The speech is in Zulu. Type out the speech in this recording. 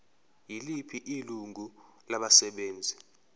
yiliphi ilungu labasebenzi